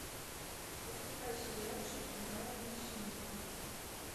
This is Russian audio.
запускай сериальчик брайана сингера